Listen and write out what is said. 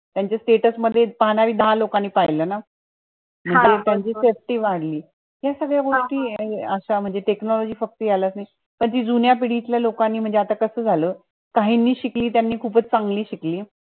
त्याच्या status मध्ये दहा लोकांनी पाहिलं ना हा म त्यानी त्याची safety वाढली या सगळ्या गोष्टी ये अश्या म्हणजे technology पण जे जुन्या पिढीतल्या लोकांनी म्हणजे आता कसं झालं काहींनी शिकली ती खूप च चांगली शिकली